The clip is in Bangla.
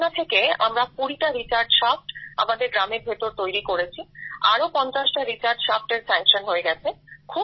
সেই ভাবনা থেকে আমরা ২০টা রিচার্জ শাফ্ট আমাদের গ্রামের ভেতর তৈরি করেছি আরো 50টা রিচার্জ shaftএর স্যাঙ্কশন হয়ে গেছে